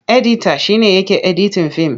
Edita shi ne yake editin fim.